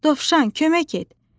Dovşan, kömək et!